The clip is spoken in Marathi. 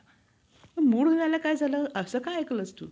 जिजामाता यांचे लग्नही लहान वयातच झाले. लखुजी जाधव हे जिजामातांच्या